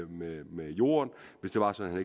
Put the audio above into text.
med med jorden hvis det var sådan